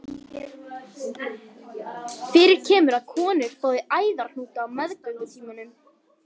Fyrir kemur að konur fái æðahnúta á meðgöngutímanum.